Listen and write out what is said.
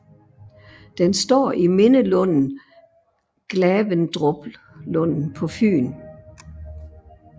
Den står i mindelunden Glavendruplunden på Fyn